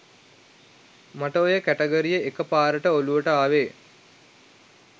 මට ඔය කැටගරිය එක පාරට ඔළුවට ආවේ